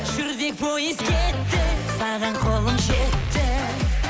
жүрдек пойыз кетті саған қолым жетті